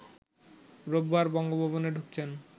রোববার বঙ্গভবনে ঢুকছেন